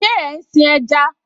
Ṣe ń sin ẹja?